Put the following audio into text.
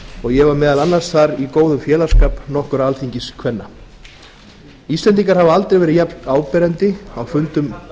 og ég var meðal annars þar í góðum félagsskap nokkurra alþingiskvenna íslendingar hafa aldrei verið jafnáberandi á fundum